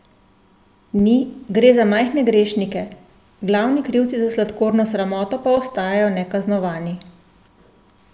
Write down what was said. Ni, gre za majhne grešnike, glavni krivci za sladkorno sramoto pa ostajajo nekaznovani!